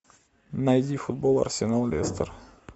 найди футбол арсенал лестер